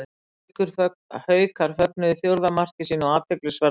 Haukar fögnuðu fjórða marki sínu á athyglisverðan hátt.